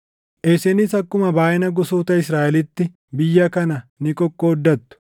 “Isinis akkuma baayʼina gosoota Israaʼelitti biyya kana ni qoqqooddattu.